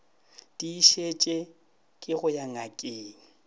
tiišetše ke go ya ngakeng